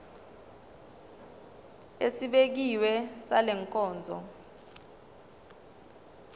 esibekiwe sale nkonzo